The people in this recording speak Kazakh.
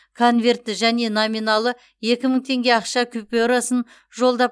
конвертті және номиналы екі мың теңге ақша купюрасын жолдап